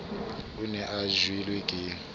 o ne a jelwe ke